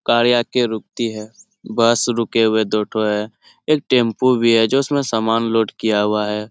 गाड़ी आके रूकती हे बस रुकी हुई हे दो ठो हे एक टेम्पू भी हे जिसमे सामान लोड किये हुआ हे ।